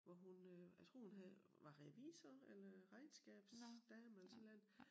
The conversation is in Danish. Hvor hun øh jeg tror hun havde var revisor eller regnskabsdame eller sådan et eller andet